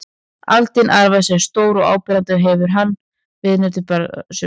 Aldin arfans eru stór og áberandi og hefur hann viðurnefnið berjaarfi sums staðar á landinu.